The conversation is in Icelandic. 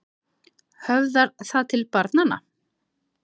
Höfðar það til barnanna?